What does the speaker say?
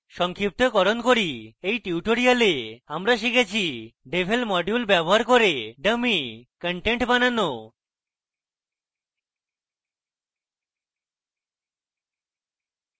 সংক্ষিপ্তকরণ করি in tutorial আমরা শিখেছি: devel module ব্যবহার করে dummy contents বানানো